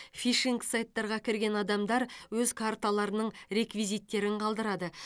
фишинг сайттарға кірген адамдар өз карталарының реквизиттерін қалдырады